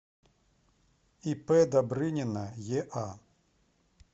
ип добрынина еа